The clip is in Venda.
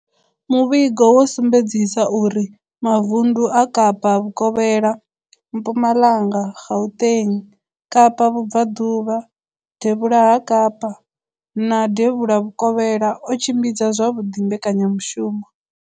Muvhigo wo sumbedzisa uri mavundu a Kapa Vhukovhela, Mpumalanga, Gauteng, Kapa Vhubvaḓuvha, Devhula ha Kapa na Devhula Vhukovhela o tshimbidza zwavhuḓi mbekanyamushumo.